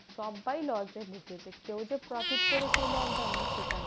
সব্বাই loss এ ঢুকেছে কেউ যে profit করেছে এই lockdown এ সেটা না।